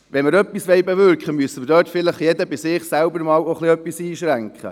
Wenn wir etwas bewirken wollen, muss sich vielleicht auch jeder selbst ein wenig einschränken.